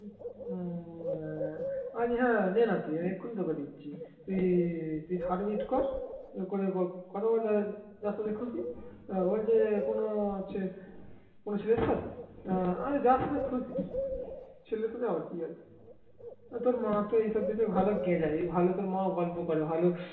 তোর মা তো এসব বিষয়ে ভালো গে যায় ভালো তোর মা ও গল্প করে ভালো